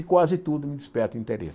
E quase tudo me desperta interesse.